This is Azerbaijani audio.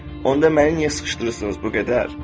Onda məni niyə sıxışdırırsınız bu qədər?